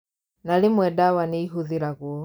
Na rĩmwe ndawa nĩihũthĩragwo